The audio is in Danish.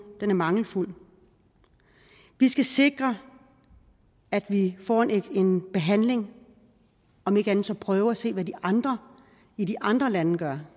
er mangelfuld vi skal sikre at vi får en behandling om ikke andet så prøve at se hvad de andre i de andre lande gør